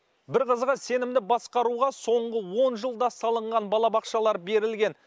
бір қызығы сенімді басқаруға соңғы он жылда салынған балабақшалар берілген